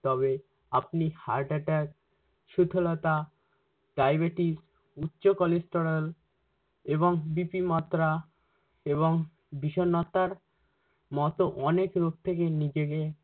তবে আপনি heart attack সুথলতা, ডায়বেটিস, উচ্চ cholesterol এবং BP মাত্রা এবং বিষন্নতার মতো অনেক রোগ থেকে নিজেকে-